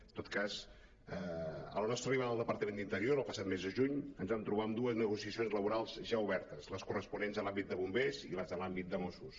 en tot cas a la nostra arribada al departament d’interior el passat mes de juny ens vam trobar amb dues negociacions laborals ja obertes les corresponents a l’àmbit de bombers i les de l’àmbit de mossos